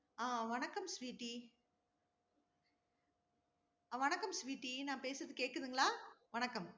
அஹ் வணக்கம் சுவிட்டி! அஹ் வணக்கம் சுவிட்டி நான் பேசுறது கேக்குதுங்களா? வணக்கம்.